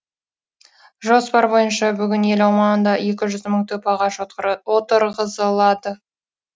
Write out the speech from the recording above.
жоспар бойынша бүгін ел аумағында екі жүз мың түп ағаш отырғызылады